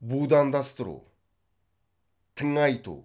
будандастыру тыңайту